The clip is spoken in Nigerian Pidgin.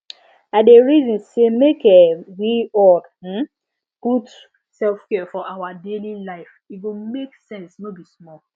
i dey reason say make um we all um put selfcare for our daily life e go make sense no be small